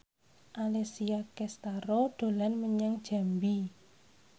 Alessia Cestaro dolan menyang Jambi